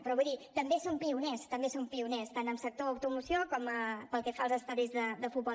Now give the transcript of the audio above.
però vull dir també som pioners també som pioners tant en sector automoció com pel que fa als estadis de futbol